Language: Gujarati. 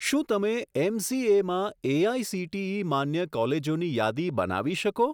શું તમે એમસીએમાં એઆઇસીટીઈ માન્ય કોલેજોની યાદી બનાવી શકો?